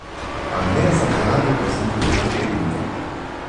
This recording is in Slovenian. A ne za mlade voznike začetnike.